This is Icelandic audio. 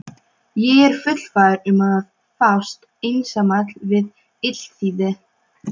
Ég er fullfær um að fást einsamall við illþýði!